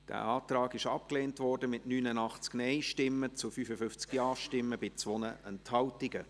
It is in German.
Der Antrag wurde abgelehnt, mit 89 Nein- gegen 55 Ja-Stimmen bei 2 Enthaltungen.